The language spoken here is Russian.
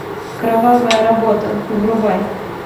кровавая работа врубай